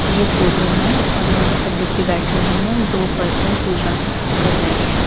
यह फोटो है और यहां पे पंडित जी बैठे हुए हैं दो पर्सन पूजा कर रहे हैं।